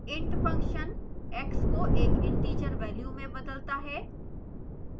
int function x को एक integer value में बदलता है